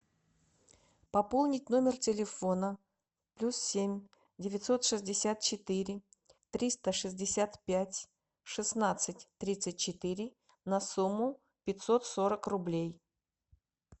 пополнить номер телефона плюс семь девятьсот шестьдесят четыре триста шестьдесят пять шестнадцать тридцать четыре на сумму пятьсот сорок рублей